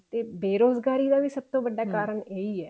ਤੇ ਬੇਰੋਜ਼ਗਾਰੀ ਦਾ ਵੀ ਸਭ ਤੋਂ ਵੱਡਾ ਕਾਰਨ ਇਹੀ ਹੈ